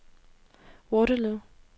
Waterloo